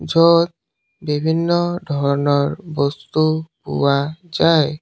য'ত বিভিন্ন ধৰণৰ বস্তু পোৱা যায়।